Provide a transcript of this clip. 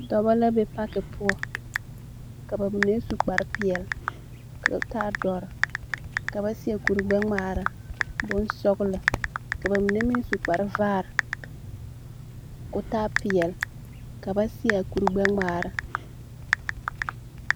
Dͻbͻ la be paki poͻ. Ka ba mine su kpare peԑle ka o taa dͻre. ka ba seԑ kuri gbԑ ŋmaara bonsͻgelͻ. Ka ba mine meŋ su kpare vaare koo taa peԑle. Ka ba seͻ a kuri gbԑ ŋmaara.